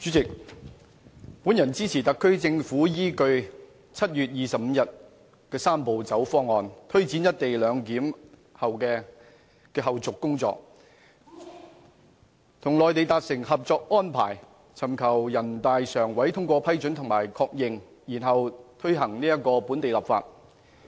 主席，本人支持特區政府依據7月25日公布的"三步走"方案，推展"一地兩檢"的後續工作，與內地達成《合作安排》，尋求人大常委會通過、批准及確認，然後推行本地立法。